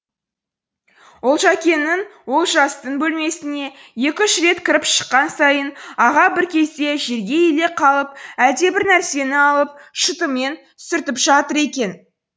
олжакеңнің олжастың бөлмесіне екі үш рет кіріп шыққан сайын аға бір кезде жерге иіле қалып әлдебір нәрсені алып шытымен сүртіп жатыр екен